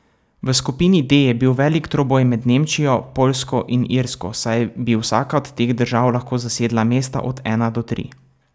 V skupini D je bil veliki troboj med Nemčijo, Poljsko in Irsko, saj bi vsaka od teh držav lahko zasedla mesta od ena do tri.